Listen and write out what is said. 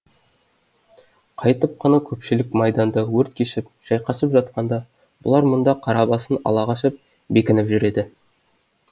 қайтіп қана көпшілік майданда өрт кешіп шайқасып жатқанда бұлар мұнда қара басын ала қашып бекініп жүреді